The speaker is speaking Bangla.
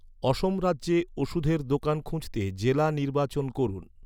অসম রাজ্যে ওষুধের দোকান খুঁজতে জেলা নির্বাচন করুন